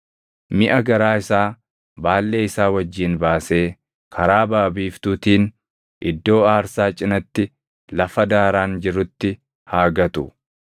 Miʼa garaa isaa baallee isaa wajjin baasee karaa baʼa biiftuutiin iddoo aarsaa cinatti lafa daaraan jirutti haa gatu.